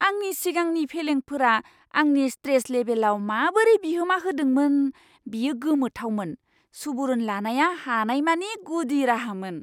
आंनि सिगांनि फेलेंफोरा आंनि स्ट्रेस लेबेलआव माबोरै बिहोमा होदोंमोन बेयो गोमोथावमोन! सुबुरुन लानाया हामनायनि गुदि राहामोन!